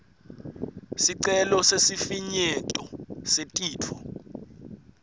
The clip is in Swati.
sicelo sesifinyeto setifo